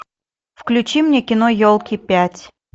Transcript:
включи мне кино елки пять